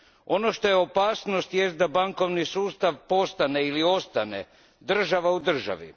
Ono što je opasnost, jest da bankovni sustav postane ili ostane država u državi.